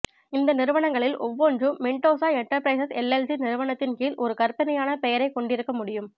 இந்த நிறுவனங்களில் ஒவ்வொன்றும் மெண்டோசா எண்டர்பிரைஸ் எல்எல்சி நிறுவனத்தின் கீழ் ஒரு கற்பனையான பெயரைக் கொண்டிருக்க முடியும்